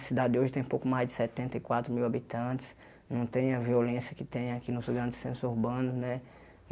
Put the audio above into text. A cidade hoje tem pouco mais de setenta e quatro mil habitantes, não tem a violência que tem aqui nos grandes centros urbanos, né?